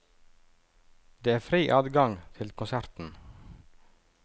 Det er fri adgang til konserten.